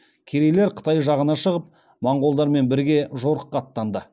керейлер қытай жағына шығып монғолдармен бірге жорыққа аттанады